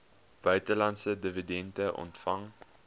buitelandse dividende ontvang